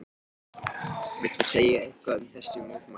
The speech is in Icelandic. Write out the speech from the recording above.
Lára Ómarsdóttir: Viltu segja eitthvað um þessi mótmæli?